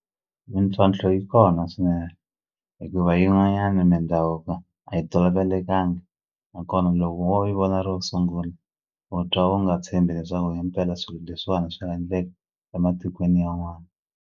Mintlhontlho yi kona swinene hikuva yin'wanyani mindhavuko a yi tolovelekangi nakona loko wo yi vona ro sungula u twa u nga tshembi leswaku himpela swilo leswiwani swa endleka ematikweni yan'wani.